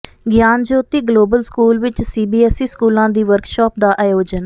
ਗਿਆਨ Jyoti global school ਵਿੱਚ CBSE ਸਕੂਲਾਂ ਦੀ ਵਰਕਸ਼ਾਪ ਦਾ ਆਯੋਜਨ